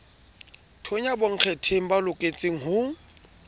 thonya bonkgetheng ba loketseng ho